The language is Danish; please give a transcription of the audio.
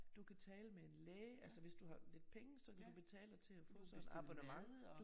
Du kan tale med en læge altså hvis du har lidt penge så kan du betale dig til at få sådan et abonnement